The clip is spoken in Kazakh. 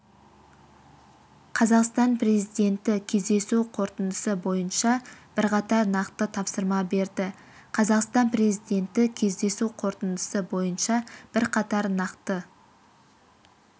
қазақстан президенті кездесу қорытындысы бойынша бірқатар нақты тапсырма берді қазақстан президенті кездесу қорытындысы бойынша бірқатар нақты